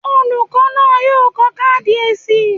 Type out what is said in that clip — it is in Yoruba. Olùkọ́ náà yóò kọ káàdì èsì.